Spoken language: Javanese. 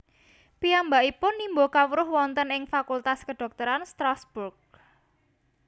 Piyambakipun nimba kawruh wonten ing Fakultas Kedhokteran Strasbourg